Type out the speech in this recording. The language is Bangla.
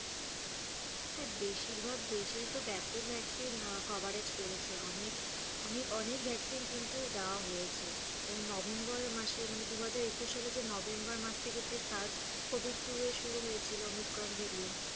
হ্যাঁ বেশির ভাগ দেশেই তো ব্যাপক vaccine coverage করেছে। অনেক অনেক vaccine কিন্তু দেওয়া হয়েছে। এবার নভেম্বর মাসে মানে দুহাজার একুশ সালে যে নভেম্বর মাস থেকে যে search COVID two এর শুরু হয়েছিলো ওমিক্রন ভ্যারিয়েন্ট